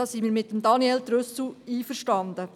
Da sind wir mit Daniel Trüssel einverstanden.